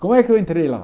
Como é que eu entrei lá?